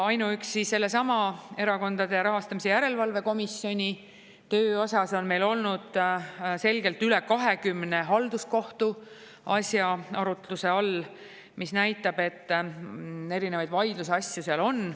Ainuüksi sellesama Erakondade Rahastamise Järelevalve Komisjoni töö osas on meil olnud selgelt üle 20 halduskohtu asja arutluse all, mis näitab, et erinevaid vaidlusasju seal on.